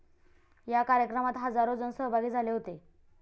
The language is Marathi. या कार्यक्रमात हजारो जण सहभागी झाले होते.